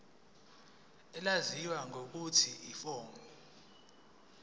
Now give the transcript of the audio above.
elaziwa ngelokuthi yiform